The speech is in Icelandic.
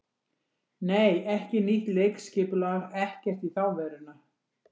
Nei, ekki nýtt leikskipulag, ekkert í þá veruna.